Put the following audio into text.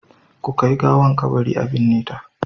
Ku kai gawar kabari a binne ta.